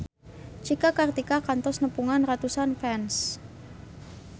Cika Kartika kantos nepungan ratusan fans